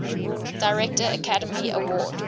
director academy award